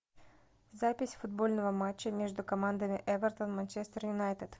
запись футбольного матча между командами эвертон манчестер юнайтед